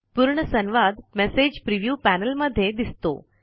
पूर्ण संवाद message preview panel मध्ये दिसतो